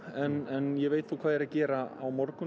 en ég veit hvað ég er að gera á morgun